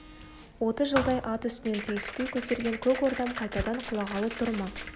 отыз жылдай ат үстінен түспей көтерген көк ордам қайтадан құлағалы тұр ма